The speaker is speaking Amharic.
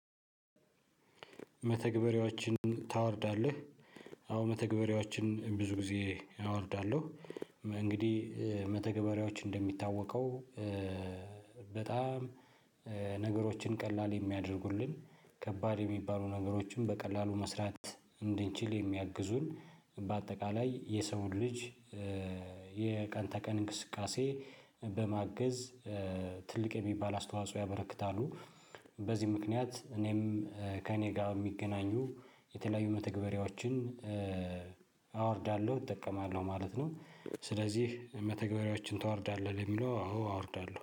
መተግበሪያዎችን ታወርዳለህ? አዎ መተግበሪያዎችን ብዙ ጊዜ አወርዳለሁ። እንግዲህ መተገበሪያዎች እንደሚታወቀው በጣም ነገሮችን ቀላል የሚያደርጉልን ከባድ የሚባሉ ነገሮችን በቀላሉ መስራት እንድንችል የሚያግዙን በአጠቃላይ የሰውን ልጅ የቀን ተቀን እንቅስቃሴ በማገዝ ትልቅ የሚባል አስተዋጽኦ ያበረክታሉ። በዚህ ምክንያት እኔም ከእኔ ጋር የሚገናኙ የተለያዩ መተግበሪያዎችን አወርዳለሁ እጠቀማለሁ ማለት ነው። ስለዚህ መተግበሪያዎችን ታወርዳለህ? የሚለው አዎ አወርዳለሁ